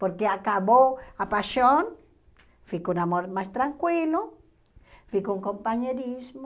Porque acabou a paixão, fica um amor mais tranquilo, fica um companheirismo.